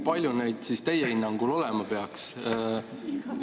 Palju neid siis teie hinnangul olema peaks?